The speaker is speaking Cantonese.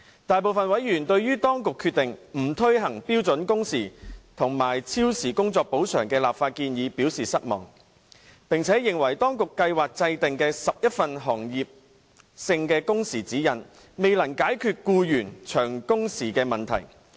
大部分委員對於當局決定不推行標準工時和超時工作補償的立法建議表示失望，並且認為當局計劃制訂的11份行業性工時指引未能解決僱員長工時的問題。